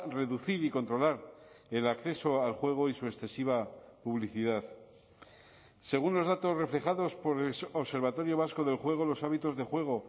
reducir y controlar el acceso al juego y su excesiva publicidad según los datos reflejados por el observatorio vasco del juego los hábitos de juego